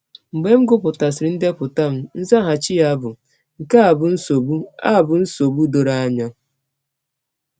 Mgbe m gụpụtasịrị ndepụta m, nzaghachi ya bụ: “ Nke a bụ nsọgbụ a bụ nsọgbụ dọrọ anya.